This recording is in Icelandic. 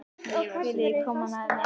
Viljiði koma með mér?